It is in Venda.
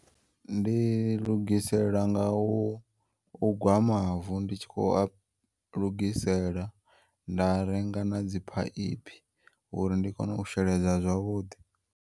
Ndi lugisela nga u ugwa mavu nditshi kho a lugisela nda renga na dziphaiphi uri ndi kone u sheledza zwavhuḓi.